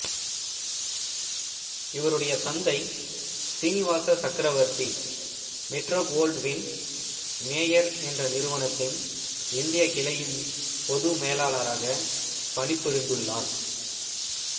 இவருடைய தந்தை Srinivasa Chakravarthy Metro Goldwyn Mayer என்ற நிறுவனத்தின் இந்தியக் கிளையின்பொது மேலாளாராக பணி புரிந்துள்ளார்